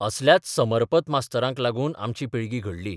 असल्याच समर्पत मास्तरांक लागून आमची पिळगी घडली.